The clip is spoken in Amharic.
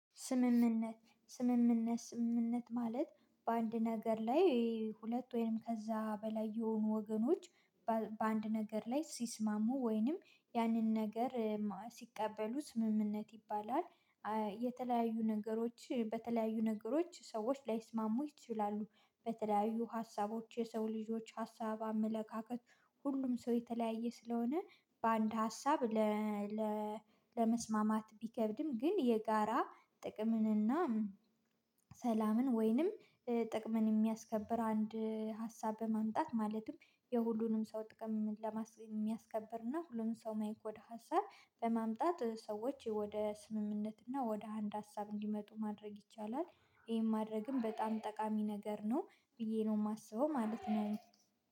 ስምምነት ስምምነት ስምምነት ማለት በአንድ ነገር ላይ ሁለት ወይም ከዛ በላይ የሆኑ ወገኖች በአንድ ነገር ላይ ሲስማሙ ወይንም ያንን ነገር ሲቀበሉት ስምምነት ይባላል። የተለያዩ ነገሮች በተለያዩ ነገሮች ሰዎች ላይስማሙ ይችላሉ በተለያዩ ሀሳቦች የሰው ልጆች ሀሳብ አመለካከት ሁሉም ሰው የተለያየ ስለሆነ በአንድ ሀሳብ ለመስማማት ቢከብድም ግን የጋራ ጥቅምንና እና ሰላምን ወይንም ጥቅምን የሚያስከብር አንድ ሀሳብ በማምጣት ማለትም የሁሉንም ሰው ጥቅም ለማ የሚያስከብርና ሁሉም ሰው ማይክ ወደ ሀሳብ በማምጣት ሰዎች ወደ ስምምነት እና ወደ አንድ ሀሳብ እንዲመጡ ማድረግ ይቻላል። ይሄን ማድረግም በጣም ጠቃሚ ነገር ነው ብዬ ነው የማስበው ማለት ነው